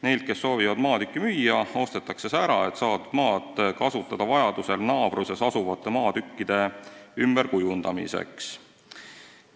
Neilt, kes soovivad maatükki müüa, ostetakse see ära, et saadud maad vajadusel kasutada naabruses asuvate maatükkide ümberkujundamiseks.